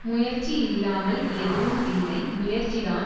முயற்சி இல்லாமல் எதுவும் இல்லை முயற்சிதான்